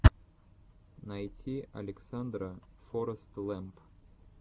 найти александра форэстлэмп